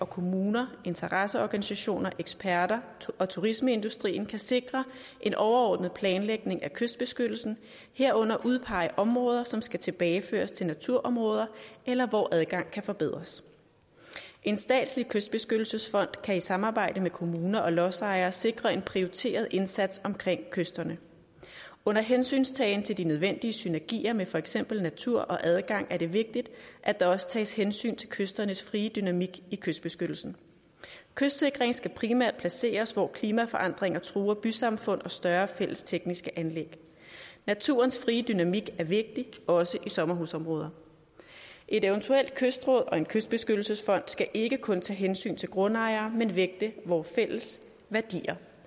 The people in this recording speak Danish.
kommuner interesseorganisationer eksperter og turismeindustrien kan sikre en overordnet planlægning af kystbeskyttelsen herunder udpege områder som skal tilbageføres til naturområder eller hvor adgang kan forbedres en statslig kystbeskyttelsesfond kan i samarbejde med kommuner og lodsejere sikre en prioriteret indsats omkring kysterne under hensyntagen til de nødvendige synergier med for eksempel natur og adgang er det vigtigt at der også tages hensyn til kysternes frie dynamik i kystbeskyttelsen kystsikring skal primært placeres hvor klimaforandringer truer bysamfundet og større fælles tekniske anlæg naturens frie dynamik er vigtig også i sommerhusområder et eventuelt kystråd og en kystbeskyttelsesfond skal ikke kun tage hensyn til grundejere men vægte vores fælles værdier